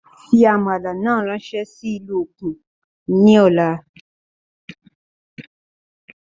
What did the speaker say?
Fí àmàlà náà ráńsé sí ìlú òkun ní ọ̀la